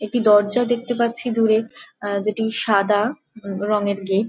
একটি দরজা দেখতে পাচ্ছি দূরে আ যেটি সাদা রঙের গেট |